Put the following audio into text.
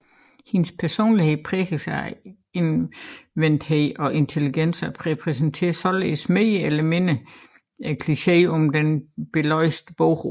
Hendes personlighed præges af indadvendthed og intelligens og repræsenterer således mere eller mindre klicheen om den belæste bogorm